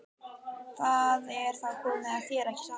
Það er þá komið að þér, ekki satt?